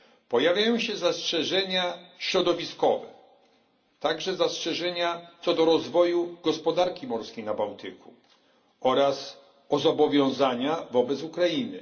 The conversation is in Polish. Pojawiają się zastrzeżenia środowiskowe, także zastrzeżenia co do rozwoju gospodarki morskiej na Bałtyku oraz zobowiązań wobec Ukrainy.